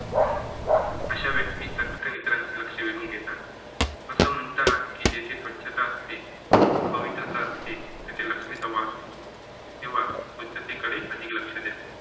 अशे व्यक्ती चटकन इतरांचे लक्ष वेधून घेतात. असं म्हणतात की जेथे स्वछता असेत, पवित्रता असते तेथे लक्ष्मीचा वास असतो. तेव्हा स्वचछते कडे अधिक लक्ष्य द्या.